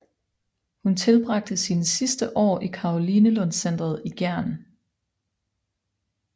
Hun tilbragte sine sidste år i Karolinelundscentret i Gjern